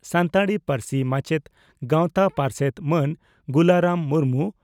ᱥᱟᱱᱛᱟᱲᱤ ᱯᱟᱹᱨᱥᱤ ᱢᱟᱪᱮᱛ ᱜᱟᱶᱛᱟ ᱯᱟᱨᱥᱮᱛ ᱢᱟᱱ ᱜᱩᱞᱟᱨᱟᱢ ᱢᱩᱨᱢᱩ